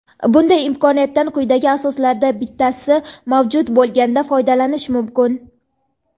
Bunday imkoniyatdan quyidagi asoslardan bittasi mavjud bo‘lganda foydalanish mumkin:.